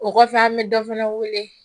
O kɔfɛ an bɛ dɔ fana wele